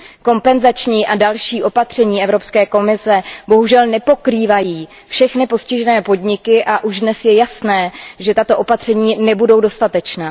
Kompenzační a další opatření Evropské komise bohužel nepokrývají všechny postižené podniky a už dnes je jasné, že tato opatření nebudou dostatečná.